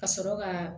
Ka sɔrɔ ka